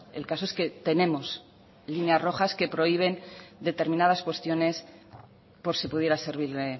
el caso es que tenemos líneas rojas que prohíben determinadas cuestiones por si pudiera servirle